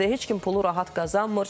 Heç kim pulu rahat qazanmır.